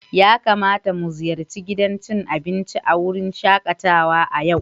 Ya kamata mu ziyarci gidan cin abinci a wurin shakatawa a yau?